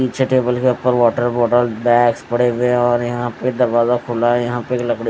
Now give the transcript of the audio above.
पीछे टेबल के ऊपर वाटर बॉटल बैगस पड़े हुए हैं और यहां पे दरवाजा खुला है यहां पे एक लकड़ी--